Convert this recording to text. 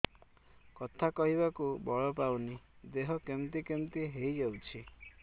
କଥା କହିବାକୁ ବଳ ପାଉନି ଦେହ କେମିତି କେମିତି ହେଇଯାଉଛି